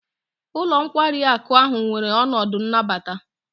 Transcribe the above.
Ụlọ nkwari akụ ahụ nwere ọnọdụ nnabata.